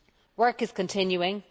Work is continuing.